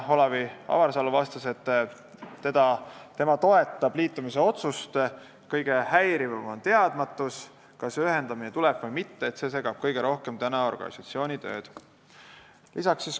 Olav Avarsalu vastas, et tema toetab liitumisotsust, kõige häirivam on teadmatus, kas ühendamine tuleb või mitte, see segab organisatsiooni tööd kõige rohkem.